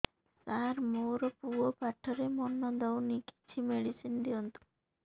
ସାର ମୋର ପୁଅ ପାଠରେ ମନ ଦଉନି କିଛି ମେଡିସିନ ଦିଅନ୍ତୁ